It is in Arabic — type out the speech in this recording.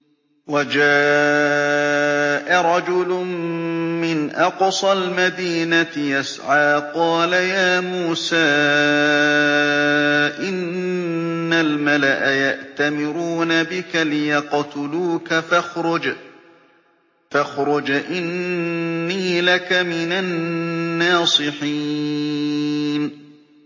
وَجَاءَ رَجُلٌ مِّنْ أَقْصَى الْمَدِينَةِ يَسْعَىٰ قَالَ يَا مُوسَىٰ إِنَّ الْمَلَأَ يَأْتَمِرُونَ بِكَ لِيَقْتُلُوكَ فَاخْرُجْ إِنِّي لَكَ مِنَ النَّاصِحِينَ